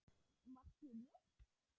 Markið mitt?